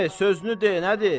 De, sözünü de, nədir?